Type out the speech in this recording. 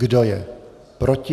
Kdo je proti?